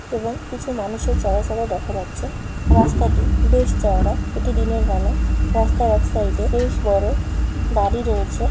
এবং কিছু মানুষের চলাচলও দেখা যাচ্ছে। রাস্তাটি বেশ চওড়া। এটি দিনের বেলা। রাস্তার এক সাইডে বেশ বড় বাড়ি রয়েছে।